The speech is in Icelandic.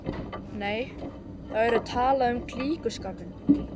Nei, þá yrði talað um klíkuskap.